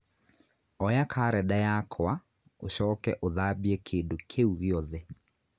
oya karenda yakwa ũcoke ũthambie kĩndũ kĩu gĩothe